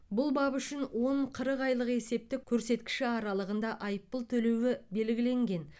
бұл бап үшін он қырық айлық есептік көрсеткіші аралығында айыппұл төлеуі белгіленген